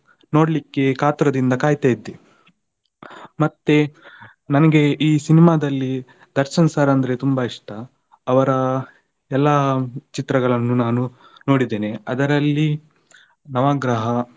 ನೋಡ್ಲಿಕ್ಕೆ ಕಾತುರದಿಂದ ಕಾಯ್ತಾ ಇದ್ದೆ. ಮತ್ತೆ ನನ್ಗೆ ಈ cinema ದಲ್ಲಿ ದರ್ಶನ್ sir ಅಂದ್ರೆ ತುಂಬಾ ಇಷ್ಟ. ಅವ್ರ ಎಲ್ಲಾ ಚಿತ್ರಗಳನ್ನು ನಾನು ನೋಡಿದ್ದೇನೆ ಅದರಲ್ಲಿ ನವಗ್ರಹ.